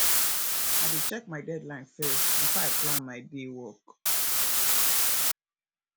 i dey check my deadline first before i plan my day work